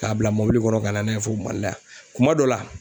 K'a bila mɔbili kɔnɔ ka na n'a ye fo Mali la yan kuma dɔ la